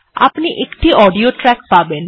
আপনি একটি audio track পাবেন